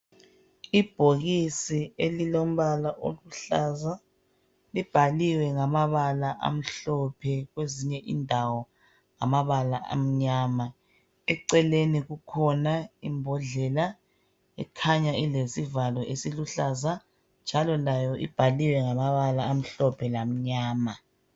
Ibhokisi elilombala oluhlaza libhaliwe ngamabala amhlophe kwezinye indawo ngamabala amnyama eceleni kukhona imbodlela ekhanya ilesivalo esiluhlaza njalo layo ibhaliwe ngamabala amhlophe lamnyama.